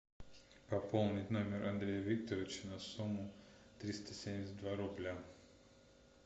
пополнить номер андрея викторовича на сумму триста семьдесят два рубля